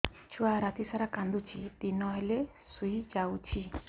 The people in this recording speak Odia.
ଛୁଆ ରାତି ସାରା କାନ୍ଦୁଚି ଦିନ ହେଲେ ଶୁଇଯାଉଛି